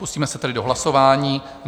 Pustíme se tedy do hlasování.